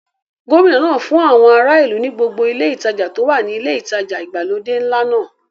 Gómìnà náà fún àwọn ará ìlú ní gbogbo ile ìtajà tó wà ní ilé ìtajà ìgbàlódé ńlá náà.